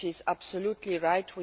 She is absolutely right.